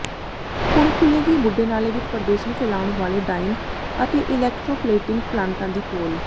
ਹੁਣ ਖੁੱਲ੍ਹੇਗੀ ਬੁੱਢੇ ਨਾਲੇ ਵਿੱਚ ਪ੍ਰਦੂਸ਼ਣ ਫੈਲਾਉਣ ਵਾਲੇ ਡਾਇੰਗ ਤੇ ਇਲੈਕਟ੍ਰੋਪਲੇਟਿੰਗ ਪਲਾਂਟਾਂ ਦੀ ਪੋਲ